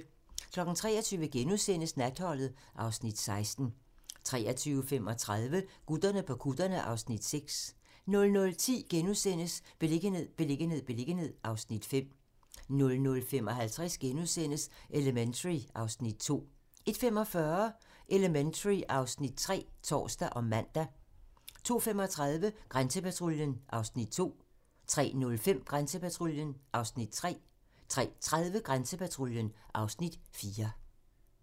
23:00: Natholdet (Afs. 16)* 23:35: Gutterne på kutterne (Afs. 6) 00:10: Beliggenhed, beliggenhed, beliggenhed (Afs. 5)* 00:55: Elementary (Afs. 2)* 01:45: Elementary (Afs. 3)(tor og man) 02:35: Grænsepatruljen (Afs. 2) 03:05: Grænsepatruljen (Afs. 3) 03:30: Grænsepatruljen (Afs. 4)